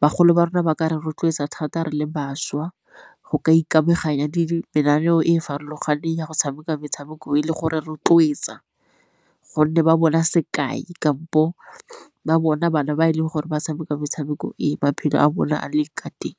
bagolo ba rona ba ka rotloetsa thata re le bašwa go ka ikamaganya le mananeo e e farologaneng ya go tshameka metshameko e le gore rotloetsa gonne ba bona sekai kampo ba bona bana ba e leng gore ba tshameka metshameko e maphelo a bona a leng ka teng.